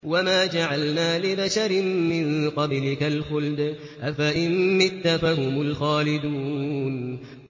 وَمَا جَعَلْنَا لِبَشَرٍ مِّن قَبْلِكَ الْخُلْدَ ۖ أَفَإِن مِّتَّ فَهُمُ الْخَالِدُونَ